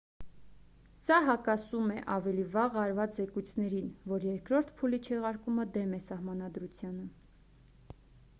սա հակասում է ավելի վաղ արված զեկույցներին որ երկրորդ փուլի չեղարկումը դեմ է սահմանադրությանը